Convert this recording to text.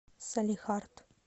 салехард